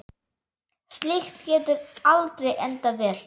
Slíkt getur aldrei endað vel.